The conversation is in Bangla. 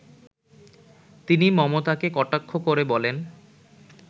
তিনি মমতাকে কটাক্ষ করে বলেন